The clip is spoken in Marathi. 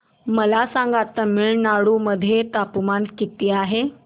मला सांगा तमिळनाडू मध्ये तापमान किती आहे